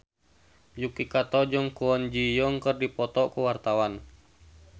Yuki Kato jeung Kwon Ji Yong keur dipoto ku wartawan